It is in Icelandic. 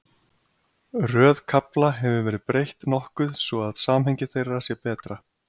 Röð kafla hefur verið breytt nokkuð svo að samhengi þeirra sé betra.